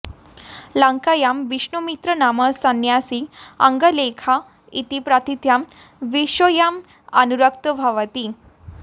लङ्कायां विष्णुमित्रो नाम संन्यासी अनङ्गलेखा इति प्रथितां वेश्यायाम् अनुरक्तो भवति